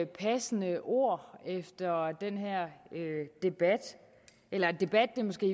passende ord efter den her debat eller debat er måske